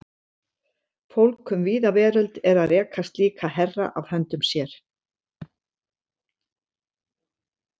Fólk um víða veröld er að reka slíka herra af höndum sér.